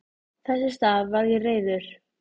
Þess í stað varð ég reiður.